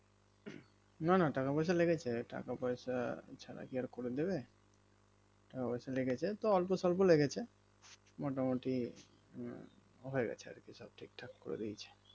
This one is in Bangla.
না না টাকা পয়সা লেগেছে টাকা পয়সা ছাড়া কি আর করে দেবে টাকা পয়সা লেগেছে তো অল্পসল্প লেগেছে মোটামোটি উম হয়েছে গেছে আরকি সব ঠিকতহা করে দিয়েছে